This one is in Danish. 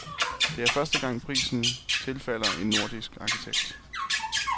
Det er første gang prisen tilfalder en nordisk arkitekt.